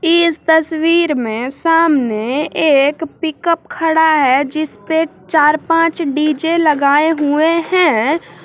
इस तस्वीर में सामने एक पिकअप खड़ा है जिसपे चार पाँच डी_जे लगाएं हुएं हैं।